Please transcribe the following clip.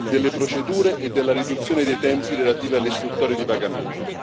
delle procedure e della riduzione dei tempi relativi alle istruttorie di pagamento.